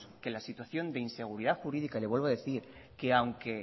que la situación de inseguridad jurídica y le vuelvo a decir que aunque